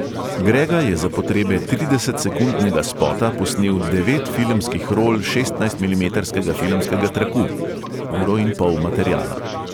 Grega je za potrebe tridesetsekundnega spota posnel devet filmskih rol šestnajstmilimetrskega filmskega traku (uro in pol materiala).